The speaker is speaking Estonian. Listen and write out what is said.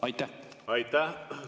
Aitäh!